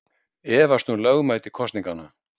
Efast um lögmæti kosninganna